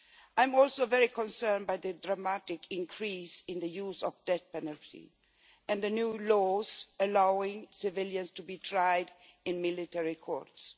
I am also very concerned by the dramatic increase in the use of the death penalty and the new laws allowing civilians to be tried in military courts.